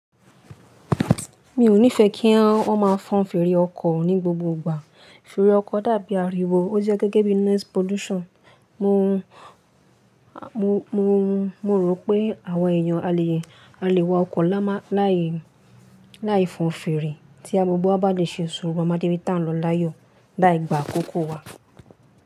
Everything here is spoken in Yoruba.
Mi ò nífẹẹ kí wọ́n má a fọn fèrè ọkọ̀ ní gbogbo ìgbà. Fèrè ọkọ̀ dàbí ariwo. Ó jẹ́ gẹ́gẹ́ bí noise pollution. Mo rò pé àwa èèyàn a lè wa ọkọ̀ layi láì fọn fèrè tí gbogbo wa bá dè ṣe sùúrù amadé bí ti ń lọ láyọ̀ láì gbà àkókò wa.